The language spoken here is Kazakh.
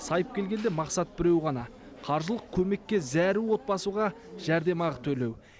сайып келгенде мақсат біреу ғана қаржылық көмекке зәру отбасыға жәрдемақы төлеу